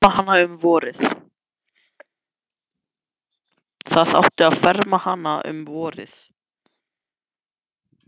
Það átti að fara að ferma hana um vorið.